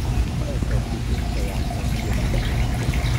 Koesyo putin koyakto mugetut